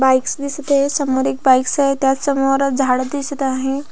Bikes दिसत आहे समोर एक बाइकस आहे त्यासमोर झाड दिसत आहे.